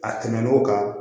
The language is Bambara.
A tɛmɛn'o kan